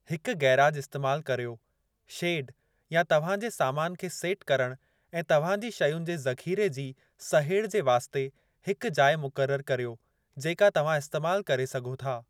हिक गैराज इस्तेमाल करियो, शेड, या तव्हां जे सामान खे सेट करणु ऐं तव्हां जी शयुनि जे ज़ख़ीरे जी सहेड़ जे वास्ते हिक जाइ मुक़रर करियो जेको तव्हां इस्तेमाल करे सघो था।